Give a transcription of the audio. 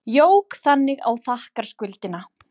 Jók þannig á þakkarskuldina.